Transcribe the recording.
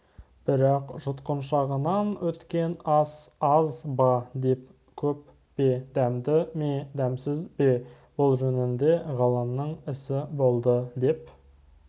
бірақ жұтқыншағынан өткен ас аз ба көп пе дәмді ме дәмсіз бе бұл жөнінде ғалымның ісі болды деп